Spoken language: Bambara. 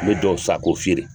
Me dɔw san ko fiyere